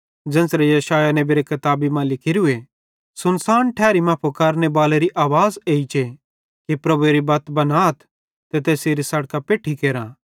ज़ेन्च़रे यशायाह नेबेरी किताबी मां लिखोरूए सुनसान ठैरी मां फुकारने बालेरी आवाज़ एइचे कि प्रभुएरी बत्त बनाथ ते तैसेरी बत्तां पैठ्ठी केरा